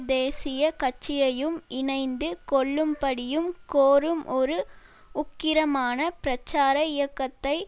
தேசிய கட்சியையும் இணைந்து கொள்ளும்படியும் கோரும் ஒரு உக்கிரமான பிரச்சார இயக்கத்தை